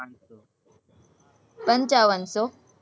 પંચાવન સો